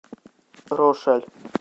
рошаль